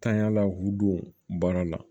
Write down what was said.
Tanyanla k'u don baara la